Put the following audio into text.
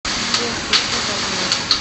сбер включи волна